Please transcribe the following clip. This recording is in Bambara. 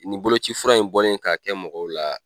Nin boloci fura in bɔlen ka kɛ mɔgɔw la